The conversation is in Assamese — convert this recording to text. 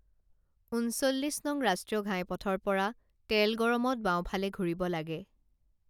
ঊনচল্লিশ নং ৰাষ্ট্ৰীয় ঘাইপথৰ পৰা তেলগৰমত বাওঁফালে ঘূৰিব লাগে